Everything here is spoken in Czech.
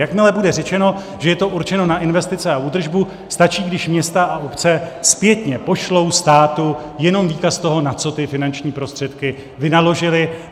Jakmile bude řečeno, že je to určeno na investice a údržbu, stačí, když města a obce zpětně pošlou státu jenom výkaz toho, na co ty finanční prostředky vynaložily.